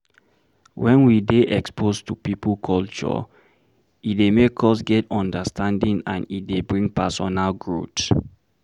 When we dey exposed to pipo culture, e dey make us get understanding and e dey bring personal growth